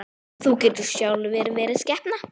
Þú getur sjálfur verið skepna!